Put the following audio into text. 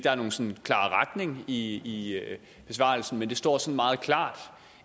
er nogen sådan klar retning i besvarelsen men det står står meget klart